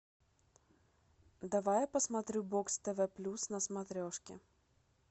давай я посмотрю бокс тв плюс на смотрешке